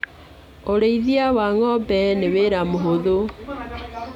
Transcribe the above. Ũrĩithia wa ng'ombe ni wĩra mũhũthũ